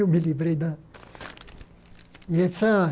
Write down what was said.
Eu me livrei da e essa.